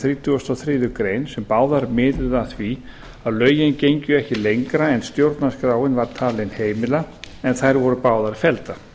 og þriðju grein sem báðar miðuðu að því að lögin gengju ekki lengra en stjórnarskráin var talin heimila en þær voru báðar felldar